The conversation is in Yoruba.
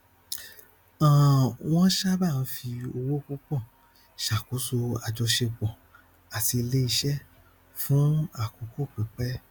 agbára iléiṣẹ dangote yóò dínkù epo wọlé àti kó epo lórí abẹlé